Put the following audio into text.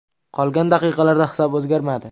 Qolgan daqiqalarda hisob o‘zgarmadi.